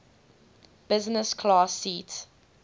business class seat